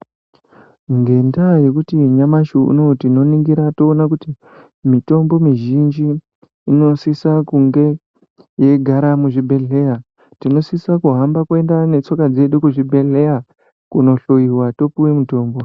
Ngendaa yekuti nyamshi uno tinoningira toona kuti mitombo mizhinji inosisa kunge yeigara muzvibhehleya tinosise kuhamba kuenda netsoka dzedu kuzvibheleya kuno hloyiwa topuwe mutombo.